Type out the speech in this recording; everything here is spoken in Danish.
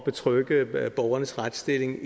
betrygge borgernes retsstilling